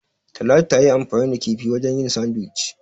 Talatu tayi anfani da kifi wajen yin "Sandwich".